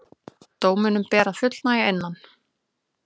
Dóminum ber að fullnægja innan